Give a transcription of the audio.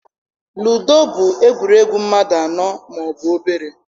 Ludo bụ egwuregwu mmadụ anọ ma ọ bụ obere.